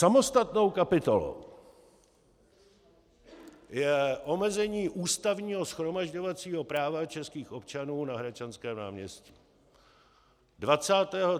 Samostatnou kapitolou je omezení ústavního shromažďovacího práva českých občanů na Hradčanském náměstí.